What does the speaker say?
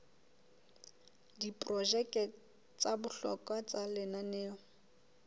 diprojeke tsa bohlokwa tsa lenaneo